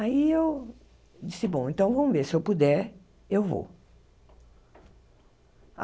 Aí eu disse, bom, então vamos ver, se eu puder, eu vou.